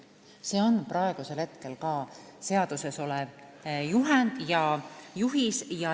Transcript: See on ka praegu seaduses olev juhend ja juhis.